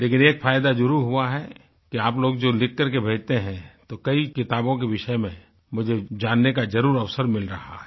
लेकिन एक फायदा जरुर हुआ है कि आप लोग जो लिख करके भेजते हैं तो कई किताबों के विषय में मुझे जानने का जरुर अवसर मिल रहा है